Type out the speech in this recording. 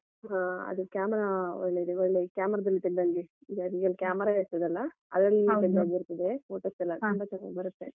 ಹಾ ಅದು camera ಒಳ್ಳೇದ~ ಒಳ್ಳೆ camera ದಲ್ಲಿ ತೆಗ್ದಂಗೆ ಈಗ real camera ಇರ್ತದಲ್ಲ. photos ಎಲ್ಲಾ ಚೆನ್ನಾಗಿ ಬರತ್ತೆ.